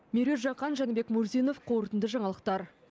меруерт жақан жәнібек мурзинов қорытынды жаңалықтар